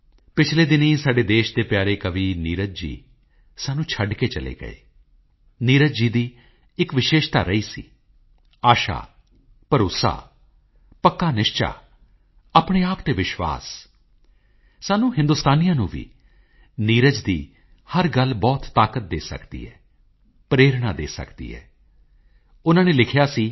ਪਿਛਲੇ ਦਿਨੀਂ ਸਾਡੇ ਦੇਸ਼ ਦੇ ਪਿਆਰੇ ਕਵੀ ਨੀਰਜ ਜੀ ਸਾਨੂੰ ਛੱਡ ਕੇ ਚਲੇ ਗਏ ਨੀਰਜ ਜੀ ਦੀ ਇੱਕ ਵਿਸ਼ੇਸ਼ਤਾ ਰਹੀ ਸੀ ਆਸ਼ਾ ਭਰੋਸਾ ਪੱਕਾ ਨਿਸ਼ਚਾ ਆਪਣੇ ਆਪ ਤੇ ਵਿਸ਼ਵਾਸ ਸਾਨੂੰ ਹਿੰਦੁਸਤਾਨੀਆਂ ਨੂੰ ਵੀ ਨੀਰਜ ਦੀ ਹਰ ਗੱਲ ਬਹੁਤ ਤਾਕਤ ਦੇ ਸਕਦੀ ਹੈ ਪ੍ਰੇਰਨਾ ਦੇ ਸਕਦੀ ਹੈ ਉਨ੍ਹਾਂ ਨੇ ਲਿਖਿਆ ਸੀ